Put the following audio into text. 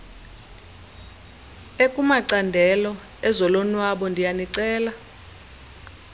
ekumacandelo ezolonwabo ndiyanicela